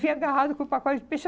Vim agarrada com o pacote de peixe.